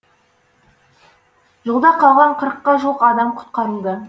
жолда қалған қырыққа жуық адам құтқарылды